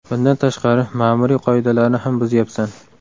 Bundan tashqari, ma’muriy qoidalarni ham buzyapsan.